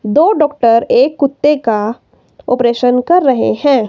दो डॉक्टर एक कुत्ते का ऑपरेशन कर रहे हैं।